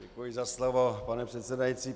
Děkuji za slovo, pane předsedající.